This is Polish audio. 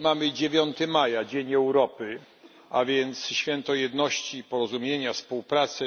Dzisiaj mamy 9 maja, Dzień Europy, a więc święto jedności, porozumienia i współpracy.